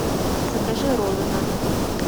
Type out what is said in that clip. закажи роллы на дом